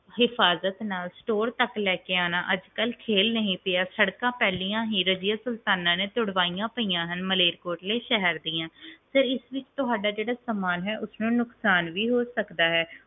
ਹਿਫਾਜ਼ਤ ਨਾਲ store ਤਕ ਲੈ ਕੇ ਆਣਾ ਅਜਕਲ ਖੇਲ ਨਹੀਂ ਰਿਹਾ ਸੜਕਾਂ ਪਹਿਲਾਂ ਹੀ ਰਜ਼ੀਆ ਸੁਲਤਾਨਾ ਨੇ ਤੁੜਵਾਈਆਂ ਪਈਆਂ ਹਨ ਮਲੇਰਕੋਟਲੇ ਸ਼ਹਿਰ ਦੀਆਂ sir ਇਸ ਬੀਚ ਤੁਹਾਡਾ ਜਿਹੜਾ ਸਾਮਾਨ ਹੈ ਉਸਨੂੰ ਨੁਕਸਾਨ ਵੀ ਹੋ ਸਕਦਾ ਹੈ